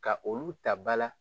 Ka olu ta ba la